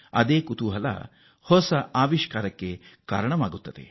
ಈ ಅವಿರತ ಸ್ಫೂರ್ತಿ ಹೊಸ ಆವಿಷ್ಕಾರಗಳಿಗೆ ನಾಂದಿ ಹಾಡುತ್ತದೆ